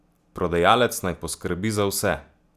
Prodajalec naj poskrbi za vse!